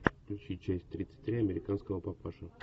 включи часть тридцать три американского папаши